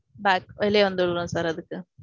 back வெளியே வந்துடுறோம் அதுக்கு.